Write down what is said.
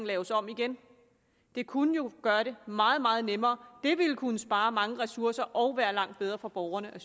laves om igen det kunne jo gøre det meget meget nemmere det ville kunne spare mange ressourcer og være langt bedre for borgerne og